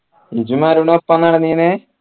ഇജ്ജും അരുണും ഒപ്പ നടന്നീനെ